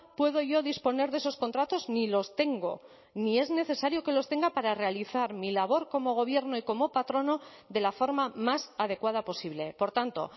puedo yo disponer de esos contratos ni los tengo ni es necesario que los tenga para realizar mi labor como gobierno y como patrono de la forma más adecuada posible por tanto